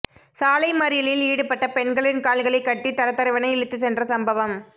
சாலை மறியலில் ஈடுபட்ட பெண்களின் கால்களை கட்டி தரதரவென இழுத்துச் சென்ற சம்பவம்